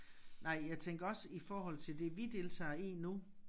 Nej jeg tænker også i forhold til det vi deltager i nu